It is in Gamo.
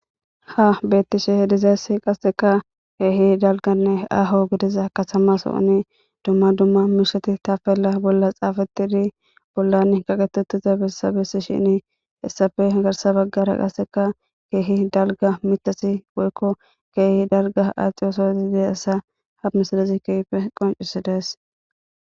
Ha beetishe dizayssi qaseka keehi dalgganne aaho gidiza katama sooni dumma dumma muusate tapela bolla xaafetidi bollani geetetiza bessa bessishin hesappe garssa baggara qaseka keehi dalgga mitati woyko keehi dalgga adhiyosa ha misilezi keehippe qonccisides.